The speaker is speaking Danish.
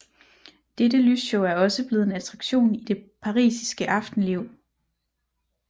Dette lysshow er også blevet en attraktion i det parisiske aftenliv